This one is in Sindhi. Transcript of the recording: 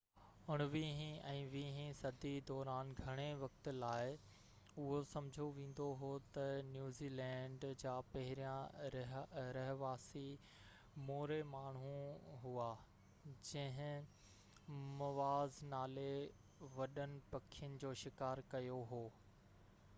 اڻويهين ۽ ويهين صدي دوران گهڻي وقت لاءِ اهو سمجهيو ويندو هو ته نيوزيلينڊ جا پهريان رهواسي موري ماڻهو هئا جن موآز نالي وڏن پکين جو شڪار ڪيو هو